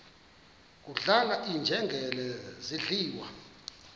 kudlala iinjengele zidliwa